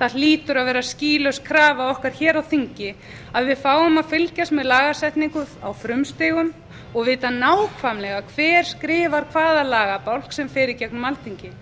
það hlýtur að vera skýlaus krafa okkar hér á þingi að við fáum að fylgjast með lagasetningu á frumstigum og vita nákvæmlega hver skrifar hvaða lagabálk sem fer í gegnum alþingi